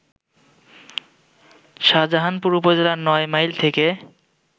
শাজাহানপুর উপজেলার নয় মাইল থেকে